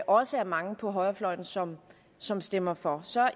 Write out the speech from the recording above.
også er mange på højrefløjen som som stemmer for så